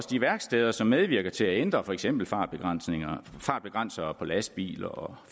de værksteder som medvirker til at ændre for eksempel fartbegrænsere fartbegrænsere på lastbiler og